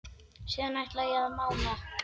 Síðan ætla ég að mála.